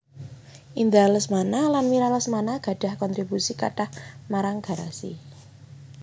Indra Lesmana lan Mira Lesmana gadhah kontribusi kathah marang Garasi